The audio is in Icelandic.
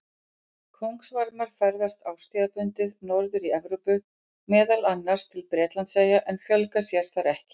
Kóngasvarmar ferðast árstíðabundið norðar í Evrópu, meðal annars til Bretlandseyja, en fjölga sér þar ekki.